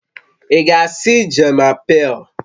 Ị ga-asị "Je m'apelle..."